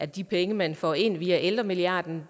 de penge man får ind via ældremilliarden